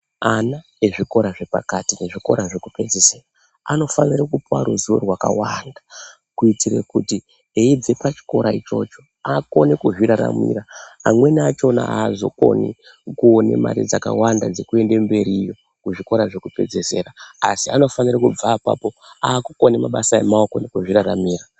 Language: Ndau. Ana ezvikora zvepakati nezvikora zvekupedzisira anofanire kupuwa ruzivo rwakakwana kuitire kuti eibve pachikora ichocho akone kuzviraramira amweni achona azokoni kuone mare dzakawanda dzekuende mberiyo kuzvikora zvekupedzisira asi anofanira kubva apapo akukone mabasa emaoko nekuzviraramira.